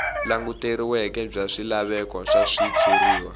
languteriweke bya swilaveko swa switshuriwa